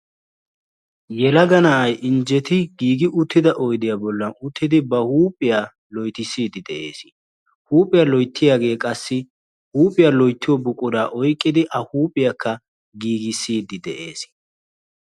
Yelega na'ay injjeti giigi uttida oyddiya bollan uttidi ba huuphiyaa loyttisside de'ees; huuphiyaa loyttiyaage qassi huuphiyaa loyttiyo buqura oyqqidi ha huuphiyakka giigisside de'ees.